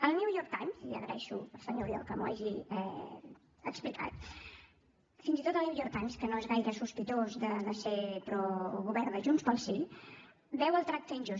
el new york times i agraeixo al senyor oriol que m’ho hagi explicat fins i tot el new york times que no és gaire sospitós de ser pro govern de junts pel sí veu el tracte injust